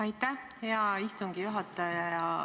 Aitäh, hea istungi juhataja!